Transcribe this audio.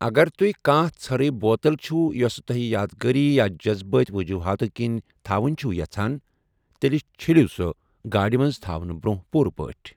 اگر تُہۍ کانٛہہ ژٔھرٕے بوتل چھو یۄسہٕ توہِہ یادگاری یا جذبٲتہِ ؤجوٗہاتو کِنۍ تھاوٕنہِ چُھو یَژھان، تیٚلہِ چھیٚلِو سۄ گاڑِ منٛز تھاونہٕ برٛونٛہہ پوٗرٕ پٲٹھۍ۔